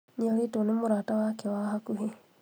Nĩorĩtwo nĩ mũrata wake wa hakuhĩ